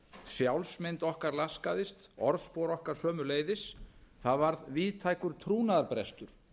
sjálfsmynd okkar laskaðist og orðspor okkar sömuleiðis það varð víðtækur trúnaðarbrestur